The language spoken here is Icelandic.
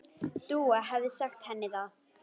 Dúa hefði sagt henni það.